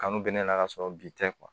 Kanu bɛ ne la ka sɔrɔ bi tɛ